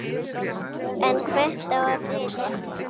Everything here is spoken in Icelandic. En hvert á að flytja?